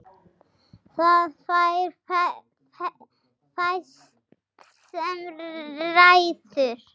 Það er fæst sem ræður.